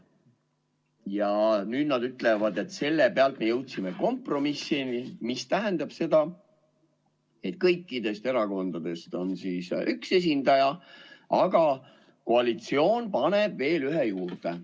Ja nüüd nad ütlevad, et selle pealt me jõudsime kompromissini, mis tähendab seda, et kõikidest erakondadest on üks esindaja, aga koalitsioon paneb veel ühe juurde.